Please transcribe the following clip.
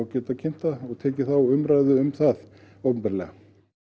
geta kynnt þetta og tekið umræðu um það opinberlega